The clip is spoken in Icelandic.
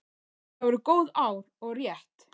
Þetta voru góð ár og rétt.